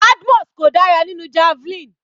Badmus kò dára nínú javelin.